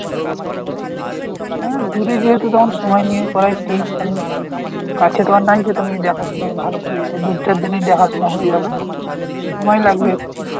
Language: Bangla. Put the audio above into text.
হ্যাঁ দূরে যেহেতু তো এখন সময় নিয়ে করাটাই ঠিক কারন কাছে তো আর নাই যে তুমি দেখা শুনা ভালো করে দু চারজনেই দেখাশুনা হয়ে যাবে সময় লাগবে একটু।